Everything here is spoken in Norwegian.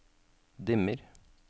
dimmer